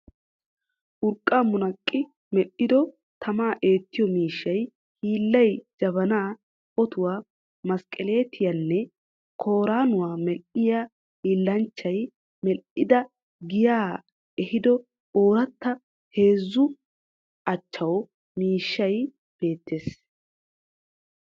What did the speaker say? Urqqaa munaqqi medhdhido tamaa eettiyo miishshay hilliya jabanaa, otuwaa, mesqqeleetiyanne kooraanuwa medhdhiya hiillanchchiya medhdhada giyaa ehido ooratta heezzu achchaawa miishshay beettes.